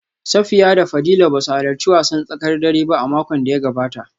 Safiya da Fadila ba su halarci wasan tsakar dare ba a makon da ya gabata